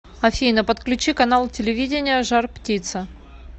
афина подключи канал телевидения жар птица